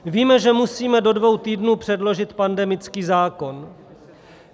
Víme, že musíme do dvou týdnů předložit pandemický zákon.